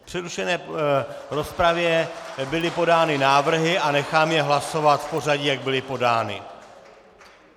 V přerušené rozpravě byly podány návrhy a nechám je hlasovat v pořadí, jak byly podány.